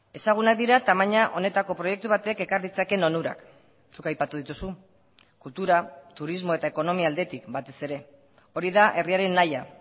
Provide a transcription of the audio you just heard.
ezagunak dira tamaina honetako proiektu batek ekar ditzakeen onurak zuk aipatu dituzu kultura turismo eta ekonomia aldetik batez ere hori da herriaren nahia